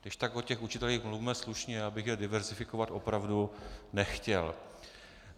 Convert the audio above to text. Když tak o těch učitelích mluvme slušně, já bych je diverzifikovat opravdu nechtěl.